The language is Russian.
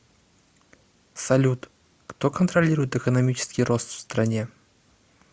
салют кто контролирует экономический рост в стране